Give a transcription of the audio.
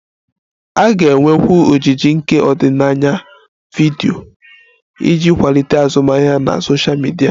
A ga-enwekwu ojiji nke ọdịnaya vidiyo iji kwalite azụmahịa na sosha midia